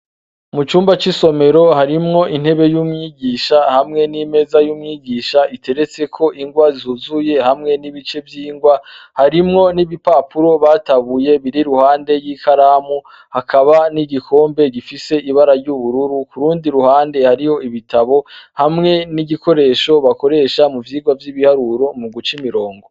Mu cumba c'isomero harimwo intebe y'umwigisha, hamwe n'imeza y'umwigisha iteretseko ingwa zuzuye, hamwe n'ibice vy'ingwa. Harimwo n'ibipapuro batabuye biri iruhande y'ikaramu; hakaba n'igikombe gifise ibara ry'ubururu. K'urundi ruhande hariho ibitabo, hamwe n'igikoresho bakoresha mu vyigwa vy'ibiharuro mu guca imirongo.